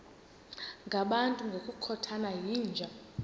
ngabantu ngokukhothana yinja